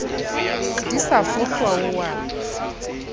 di sa fohlwa o a